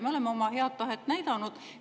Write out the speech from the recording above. Me oleme oma head tahet näidanud.